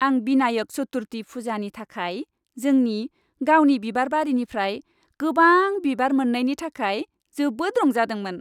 आं बिनायक चतुर्थी फुजानि थाखाय जोंनि गावनि बिबारबारिनिफ्राय गोबां बिबार मोन्नायनि थाखाय जोबोद रंजादोंमोन।